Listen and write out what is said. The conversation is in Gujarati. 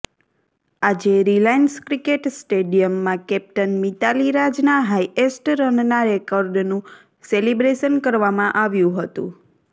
આજે રિલાયન્સ ક્રિકેટ સ્ટેડિયમમાં કેપ્ટન મિતાલી રાજના હાઇએસ્ટ રનના રેકર્ડનું સેલિબ્રેશન કરવામાં આવ્યું હતું